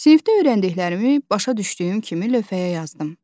Sinifdə öyrəndiklərimi başa düşdüyüm kimi lövhəyə yazdım.